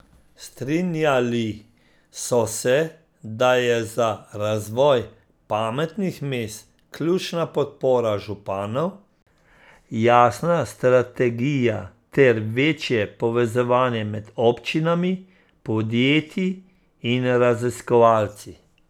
Strinjali so se, da je za razvoj pametnih mest ključna podpora županov, jasna strategija ter večje povezovanje med občinami, podjetji in raziskovalci.